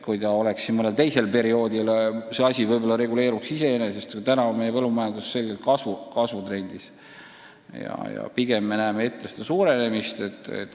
Mõnel teistsugusel perioodil see probleem võib-olla laheneks iseenesest, aga praegu on meie põllumajandus kasvutrendis ja pigem me näeme ette tootmise suurenemist.